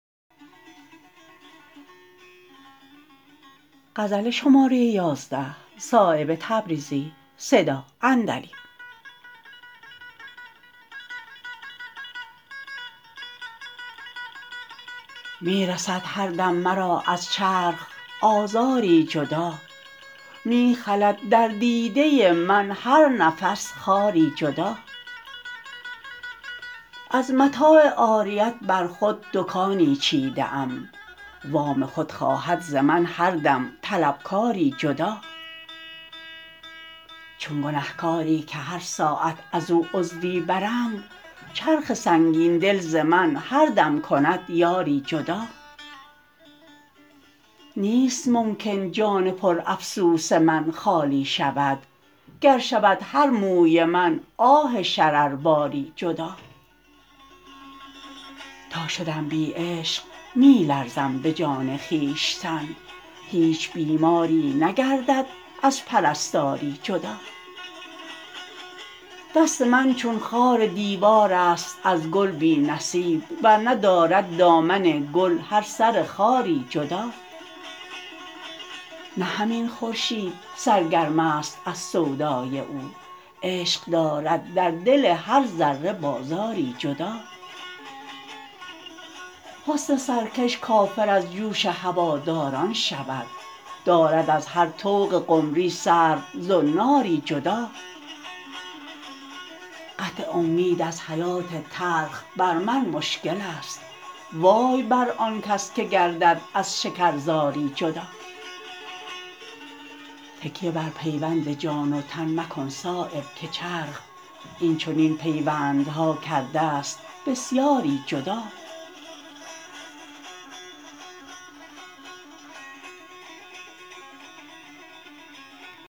می رسد هر دم مرا از چرخ آزاری جدا می خلد در دیده من هر نفس خاری جدا از متاع عاریت بر خود دکانی چیده ام وام خود خواهد ز من هر دم طلبکاری جدا چون گنهکاری که هر ساعت ازو عضوی برند چرخ سنگین دل ز من هر دم کند یاری جدا نیست ممکن جان پر افسوس من خالی شود گر شود هر موی من آه شرر باری جدا تا شدم بی عشق می لرزم به جان خویشتن هیچ بیماری نگردد از پرستاری جدا دست من چون خار دیوارست از گل بی نصیب ور نه دارد دامن گل هر سر خاری جدا نه همین خورشید سرگرم است از سودای او عشق دارد در دل هر ذره بازاری جدا حسن سرکش کافر از جوش هواداران شود دارد از هر طوق قمری سرو زناری جدا قطع امید از حیات تلخ بر من مشکل است وای بر آن کس که گردد از شکرزاری جدا تکیه بر پیوند جان و تن مکن صایب که چرخ این چنین پیوندها کرده است بسیاری جدا